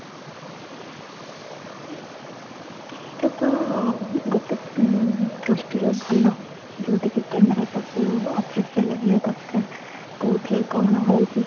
ସେଇଟା ତ ଗୋଟେ ଉଁ ଦୃଷ୍ଟି ରୁ ଭଲ ଯୋଉଟା କି camera ସବୁ office ରେ ଲାଗିବା ଦରକାର କୋଉଠି କ'ଣ ହଉଛି ?